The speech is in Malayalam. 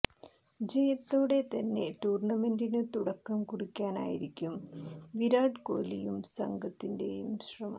ജയത്തോടെ തന്നെ ടൂര്ണമെന്റിനു തുടക്കം കുറിക്കാനായിരിക്കും വിരാട് കോലിയുടെയും സംഘത്തിന്റെയും ശ്രമം